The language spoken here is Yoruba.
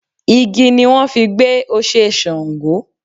Igi ni wọ́n fi gbẹ́ Oṣé Ṣàngó.